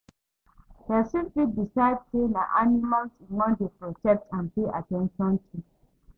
Persin fit decide say na animals im won de protect and pay at ten tion to